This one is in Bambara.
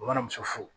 Bamanmuso fu